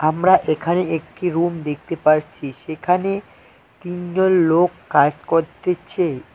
আমরা এখানে একটি রুম দেখতে পারছি সেখানে তিনজন লোক কাজ করতেছে।